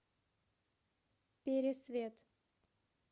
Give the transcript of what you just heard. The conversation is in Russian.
пересвет